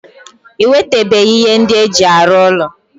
I wetebeghi ihe ndi eji aru ulo.